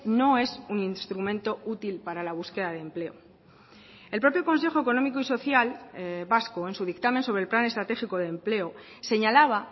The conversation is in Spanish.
no es un instrumento útil para la búsqueda de empleo el propio consejo económico y social vasco en su dictamen sobre el plan estratégico de empleo señalaba